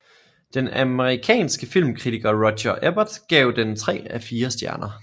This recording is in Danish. Den amerikanske filmkritiker Roger Ebert gav den tre af fire stjerner